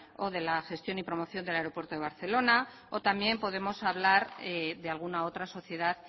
o de la gestión y promoción del aeropuerto del barcelona o también podemos hablar de alguna otra sociedad